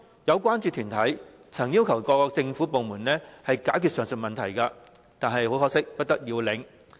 有關注團體曾要求各政府部門解決上述問題，但不得要領。